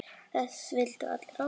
Þess vildum við allir óska.